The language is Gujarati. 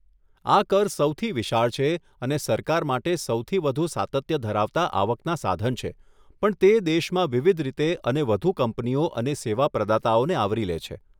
આ કર સૌથી વિશાળ છે અને સરકાર માટે સૌથી વધુ સાતત્ય ધરાવતાં આવકના સાધન છે પણ તે દેશમાં વિવિધ રીતે અને વધુ કંપનીઓ અને સેવા પ્રદાતાઓને આવરી લે છે.